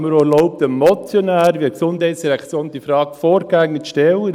Ich habe mir auch erlaubt, dem Motionär via GEF diese Frage vorgängig zu stellen.